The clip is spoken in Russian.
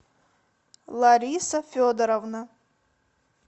лариса федоровна